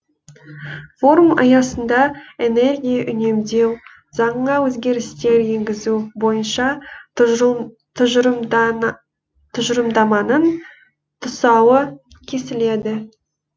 форум аясында энергия үнемдеу заңына өзгерістер енгізу бойынша тұжырымдаманың тұсауы кесіледі